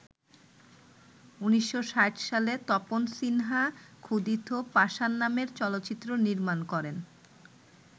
১৯৬০ সালে তপন সিনহা ‘ক্ষুধিত পাষাণ’ নামে চলচ্চিত্র নির্মাণ করেন।